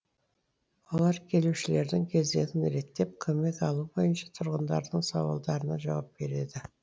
олар келушілердің кезегін реттеп көмек алу бойынша тұрғындардың сауалдарына жауап береді